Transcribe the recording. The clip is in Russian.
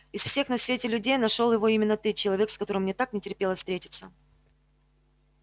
из всех на свете людей нашёл его именно ты человек с которым мне так не терпелось встретиться